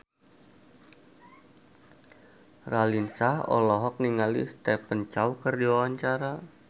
Raline Shah olohok ningali Stephen Chow keur diwawancara